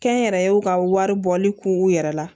Kɛnyɛrɛyew ka wari bɔli k'u yɛrɛ la